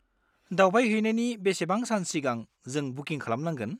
दावबायहैनायनि बेसेबां सान सिगां जों बुकिं खालामनांगोन?